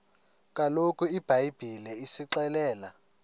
kaloku ibhayibhile isixelela